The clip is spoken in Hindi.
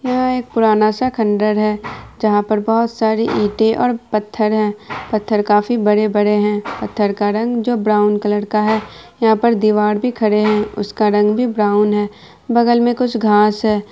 यह एक पुराना सा खंडर जहा पर बहुत सारी इटे और पत्थर है पत्थर काफी बड़े-बड़े है पत्थर का रंग जो ब्राउन कलर का है यहाँ पर दिवार भी खड़े है उसका रंग भी ब्राउन है बगल में कुछ घास है।